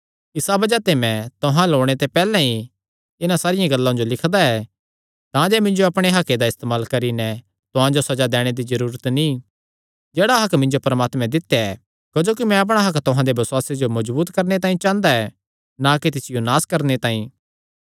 इसा बज़ाह ते मैं तुहां अल्ल ओणे ते पैहल्ले इन्हां सारियां गल्लां जो लिखदा ऐ तांजे मिन्जो अपणे हक्के दा इस्तेमाल करी नैं तुहां जो सज़ा दैणे दी जरूरत नीं जेह्ड़ा हक्क मिन्जो परमात्मे दित्या ऐ क्जोकि मैं अपणा हक्क तुहां दे बसुआसे जो मजबूत करणे तांई चांह़दा ऐ ना कि तिसियो नास करणे तांई